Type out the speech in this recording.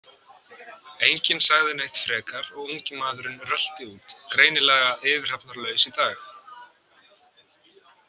Enginn sagði neitt frekar og ungi maðurinn rölti út, greinilega yfirhafnarlaus í dag.